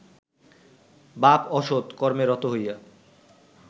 বাপ অসৎ কর্মে রত হইয়া